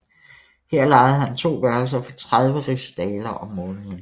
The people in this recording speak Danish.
Her lejede han to værelser for 30 rigsdaler om måneden